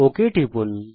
okay তে টিপুন